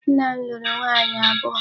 Nna m lụrụ nwaanyị abụọ.